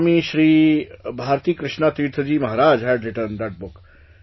Swami Shri Bharatikrishna Tirtha Ji Maharaj had written that book